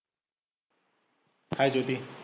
Hi Jyoti